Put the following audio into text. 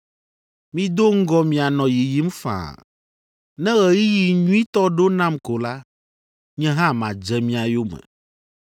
Mido ŋgɔ mianɔ yiyim faa. Ne ɣeyiɣi nyuitɔ ɖo nam ko la, nye hã madze mia yome.”